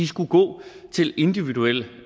skulle gå til individuel